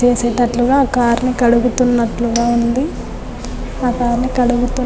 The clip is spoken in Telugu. చేసేటట్లుగా కార్ ని కడుగుతున్నట్లుగా ఉంది. ఆ కార్ ని కడుగుతు --